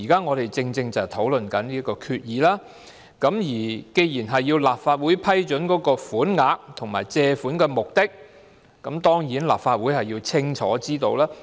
我們現在正正是討論有關的決議，既然要立法會批准款額和借款目的，立法會當然要了解清楚。